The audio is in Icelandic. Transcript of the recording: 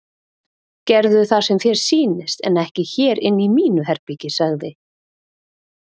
Gerðu það sem þér sýnist en ekki hér inni í mínu herbergi sagði